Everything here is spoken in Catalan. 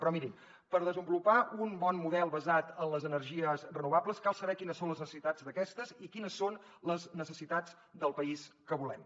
però mirin per desenvolupar un bon model basat en les energies renovables cal saber quines són les necessitats d’aquestes i quines són les necessitats del país que volem